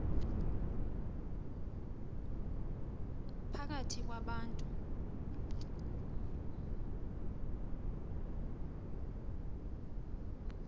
phakathi kwa bantu